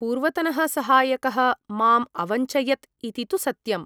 पूर्वतनः सहायकः माम् अवञ्चयत इति तु सत्यम् ।